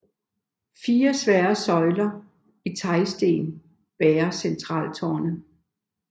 Fire svære søjler i teglsten bærer centraltårnet